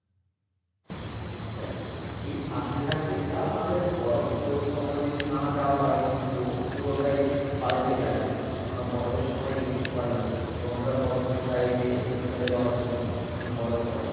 দেখো শীত শীত থাকতে থাকতে যাও নাহলে বরফ সময় যদি না যাও তালে কিন্তু পুরোটাই পাল্টে যাবে কেন না বরফের সময় দেখতে ভালো লাগে এবং আমরা সব সময় চাই যে শীতকালে যাওয়ার জন্য ওখানে বরফ পরে